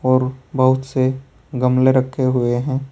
और बहोत से गमले रखे हुए हैं।